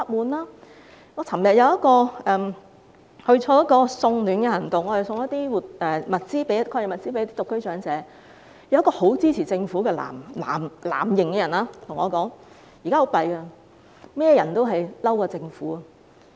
我昨天參加了一項送暖活動，把抗疫物資送給一些獨居長者，其中有一位很支持政府的藍營市民，他說很糟糕，現在所有人都不滿政府。